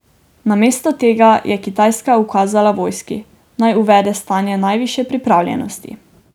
Namesto tega je Kitajska ukazala vojski, naj uvede stanje najvišje pripravljenosti.